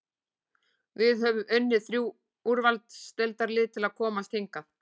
Við höfum unnið þrjú úrvalsdeildarlið til að komast hingað.